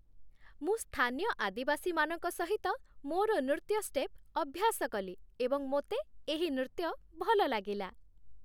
ମୁଁ ସ୍ଥାନୀୟ ଆଦିବାସୀମାନଙ୍କ ସହିତ ମୋର ନୃତ୍ୟ ଷ୍ଟେପ୍ ଅଭ୍ୟାସ କଲି ଏବଂ ମୋତେ ଏହି ନୃତ୍ୟ ଭଲ ଲାଗିଲା